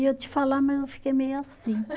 Eu ia te falar, mas eu fiquei meio assim.